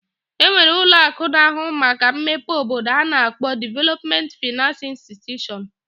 E nwere ụlọ akụ na-ahụ maka mmepe obodo a na-akpọ Development finance institution.